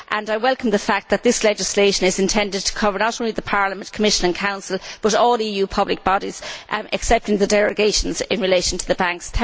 I welcome the fact that this legislation is intended to cover not only Parliament, Commission and Council but all EU public bodies, excepting the derogations in relation to the banks.